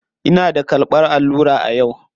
Ina da karɓan allura yau.